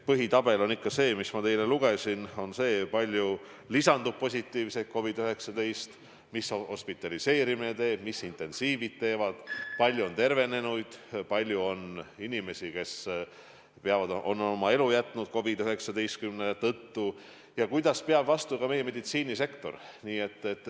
Põhitabelis on ikka see, mis ma teile ette lugesin: kui palju lisandub positiivseid teste, mida teevad hospitaliseerimise näitajad ja intensiivravi näitajad, kui palju on tervenenuid, kui palju on inimesi, kes on oma elu jätnud COVID-19 tõttu ja kuidas peab vastu ka meie meditsiinisektor.